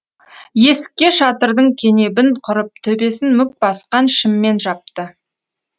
есікке шатырдың кенебін құрып төбесін мүк басқан шыммен жапты